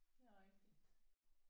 Det er rigtigt